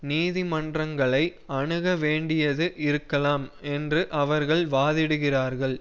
நீதிமன்றங்களை அணுக வேண்டியது இருக்கலாம் என்று அவர்கள் வாதிடுகிறார்கள்